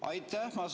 Aitäh!